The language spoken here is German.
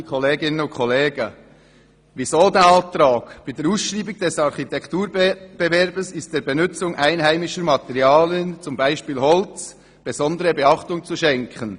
Weshalb dieser Antrag? «Bei der Ausschreibung des Architekturwettbewerbs ist der Benützung einheimischer Materialien (z. Bsp. Holz) besondere Beachtung zu schenken.